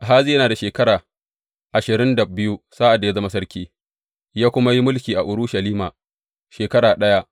Ahaziya yana da shekara ashirin da biyu sa’ad da ya zama sarki, ya kuma yi mulki a Urushalima shekara ɗaya.